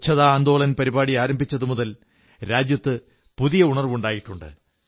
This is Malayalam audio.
ശുചിത്വ മുന്നേറ്റം ആരംഭിച്ചതു മുതൽ രാജ്യത്ത് പുതിയ ഉണർവ്വുണ്ടായിട്ടുണ്ട്